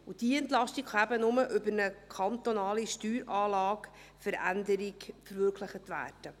Und diese Entlastung kann nur über eine kantonale Steueranlagenveränderung verwirklicht werden.